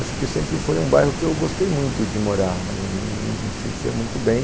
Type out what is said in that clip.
Acho que sempre foi um bairro que eu gostei muito de morar, me sentia muito bem.